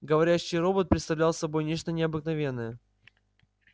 говорящий робот представлял собой нечто необыкновенное